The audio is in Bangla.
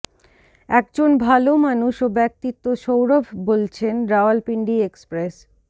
একজন ভালো মানুষ ও ব্যাক্তিত্ব সৌরভ বলছেন রাওলপিন্ডি এক্সপ্রেস